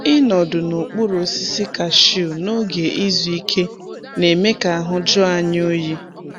Ịnọdụ n’okpuru osisi kashiu n’oge izu ike na-eme ka ahụ jụọ anyị oyi.